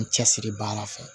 N cɛ siri baara fɛ